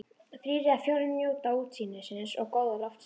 Þrír eða fjórir njóta útsýnisins og góða loftsins.